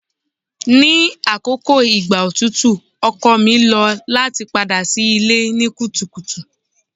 Ni akoko igba otutu ọkọ mi lo lati pada si ile ni kutukutu